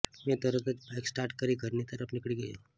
મેં તરત જ બાઈક સ્ટાર્ટ કરી ઘરની તરફ નીકળી ગયો